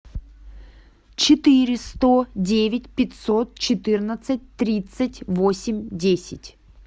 четыре сто девять пятьсот четырнадцать тридцать восемь десять